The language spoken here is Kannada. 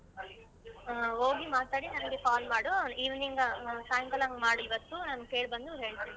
ಹ್ಮ್ ಹೋಗಿ ಮಾತಾಡಿ ನನ್ಗೆ call ಮಾಡು. evening ಸಾಯಂಕಾಲ ಹಂಗ್ ಮಾಡ್ ಇವತ್ತು ನಾನ್ ಕೇಳ್ಬಂದು ಹೇಳ್ತೀನಿ.